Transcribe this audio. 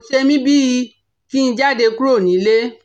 Kò ṣe mí bí i kí n jáde kúrò nílè